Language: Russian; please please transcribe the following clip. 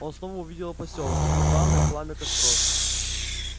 он снова увидел посёлок вигвамы пламя костров